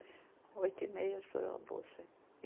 Oito e meia, estourou a bolsa.